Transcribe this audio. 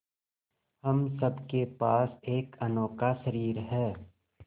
हम सब के पास एक अनोखा शरीर है